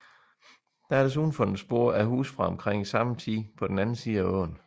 Der er desuden fundet spor af huse fra omkring samme tid på den anden side af åen